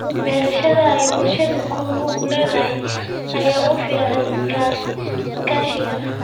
Beerashada ay bulshadu ku lug leedahay ayaa u fiican iskaashiga.